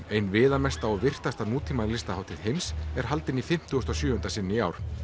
ein viðamesta og virtasta heims er haldinn í fimmtugasta og sjöunda sinn í ár